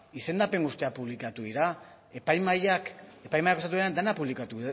izendapen guztiak publikatu dira epai mahaiak dena publikatu